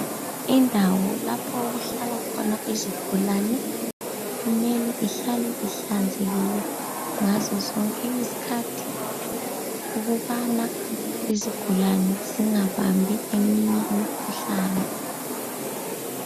Indawo lapho okuhlala khona izigulane kumele ihlale ihlanzekile ngazo zonke izikhathi. Ukubana izigulani zingabambi eminye imikhuhlane.